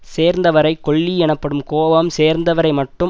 சேர்ந்தவரைக் கொல்லி எனப்படும் கோபம் சேர்ந்தவரை மட்டும்